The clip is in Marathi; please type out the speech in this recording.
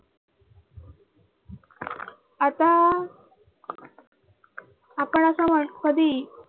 आता आपण अस म्हण कधीही